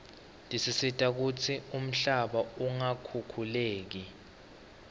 tisita kutsi umhlaba ungakhukhuleki